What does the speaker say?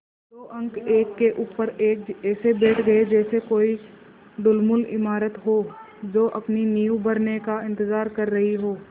दो अंक एक के ऊपर एक ऐसे बैठ गये जैसे कोई ढुलमुल इमारत हो जो अपनी नींव भरने का इन्तज़ार कर रही हो